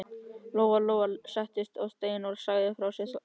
Lóa-Lóa settist á stein og lagði frá sér þorskinn.